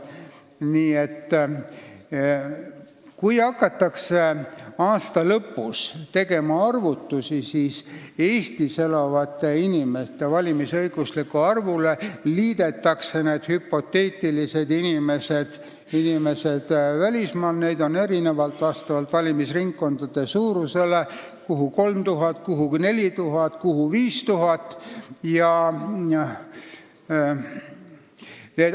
Nii et kui aasta lõpus hakatakse tegema arvutusi, siis Eestis elavate valimisõiguslike inimeste arvule liidetakse need hüpoteetilised inimesed välismaal, vastavalt valimisringkondade suurusele liidetakse neid erinevalt, kuhu 3000, kuhu 4000 ja kuhu 5000.